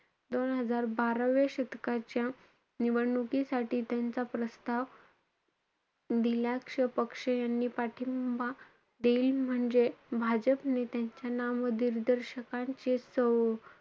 दोन हजार बाराव्या शतकाच्या निवडणुकीसाठी त्यांचा प्रस्ताव दिलाक्ष पक्ष यांनी पाठिंबा देईल. म्हणजे भाजप नेत्यांच्या नामदिर्दर्शकांचे,